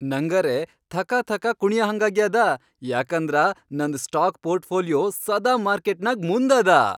ನಂಗರೇ ಥಕಥಕ ಕುಣಿಯಹಂಗಾಗ್ಯಾದ ಯಾಕಂದ್ರ ನಂದ್ ಸ್ಟಾಕ್ ಪೋರ್ಟ್ಫೋಲಿಯೋ ಸದಾ ಮಾರ್ಕೆಟ್ನಾಗ್ ಮುಂದದ.